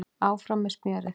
Áfram með smjörið